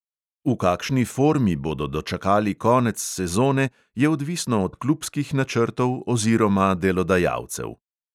V kakšni formi bodo dočakali konec sezone, je odvisno od klubskih načrtov oziroma delodajalcev.